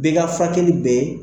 Bɛɛ ka furakɛli bɛ